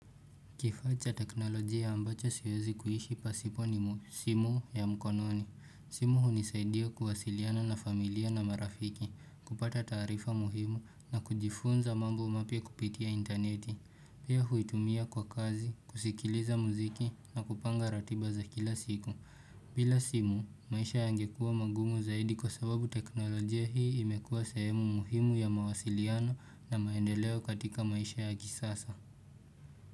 Kifaa cha teknolojia ambacho siwezi kuhishi pasipo ni simu ya mkononi. Simu hunisaidia kuwasiliana na familia na marafiki, kupata taarifa muhimu na kujifunza mambo mapya kupitia intaneti. Pia huitumia kwa kazi, kusikiliza muziki na kupanga ratiba za kila siku. Bila simu, maisha yangekuwa magumu zaidi kwa sababu teknolojia hii imekuwa sehemu muhimu ya mawasiliano na maendeleo katika maisha ya kisasa.